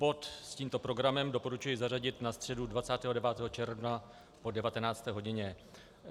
Bod s tímto programem doporučuji zařadit na středu 29. června po 19. hodině.